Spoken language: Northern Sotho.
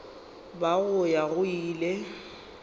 ba go ya go ile